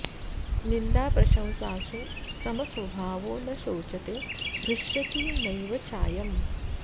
निन्दा प्रशंसासु समस्वभावो न शोचते हृष्यति नैव चायम्